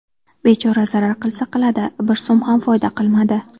Bechora zarar qilsa qildi , bir so‘m ham foyda qilmadi.